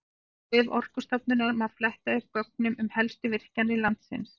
Á vef Orkustofnunar má fletta upp gögnum um helstu virkjanir landsins.